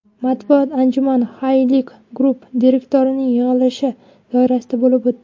Matbuot anjumani Halyk Group direktoratining yig‘ilishi doirasida bo‘lib o‘tdi.